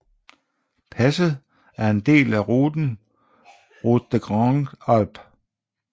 Passet er en del af ruten Route des Grandes Alpes